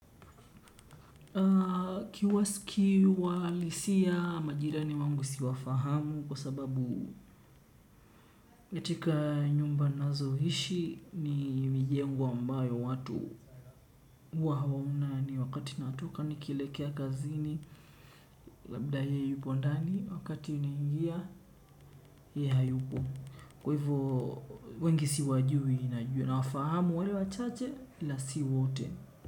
Kiwasiki uhalisia ya majirani wangu siwafahamu kwa sababu katika nyumba nazoishi ni mijengo ambayo watuohuwa hawaonani wakati natoka nikilekea kazini. Labda yeye yupo ndani wakati naingia yeye hayupo. Kwa hivo wengi siwajui najua na wafahamu wale wachache ila sio wote.